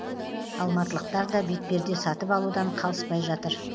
алматылықтар да бетперде сатып алудан қалыспай жатыр